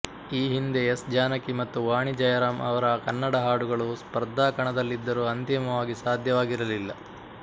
ಈ ಹಿಂದೆ ಎಸ್ ಜಾನಕಿ ಮತ್ತು ವಾಣಿ ಜಯರಾಂ ಅವರ ಕನ್ನಡ ಹಾಡುಗಳು ಸ್ಪರ್ಧಾಕಣದಲ್ಲಿದ್ದರೂ ಅಂತಿಮವಾಗಿ ಸಾಧ್ಯವಾಗಿರಲಿಲ್ಲ